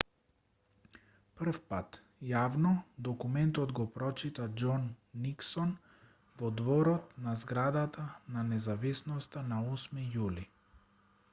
првпат јавно документот го прочита џон никсон во дворот на зградата на независноста на 8 јули